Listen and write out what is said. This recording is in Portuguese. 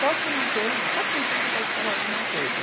Só quem tem que pode falar alguma coisa.